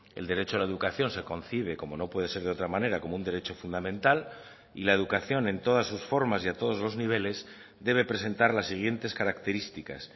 el derecho a la educación se concibe como no puede ser de otra manera como un derecho fundamental y la educación en todas sus formas y a todos los niveles debe presentar las siguientes características